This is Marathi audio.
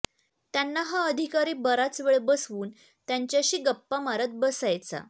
त्यांना हा अधिकारी बराच वेळ बसवून त्यांच्याशी गप्पा मारत बसायचा